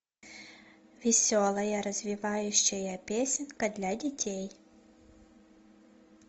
веселая развивающая песенка для детей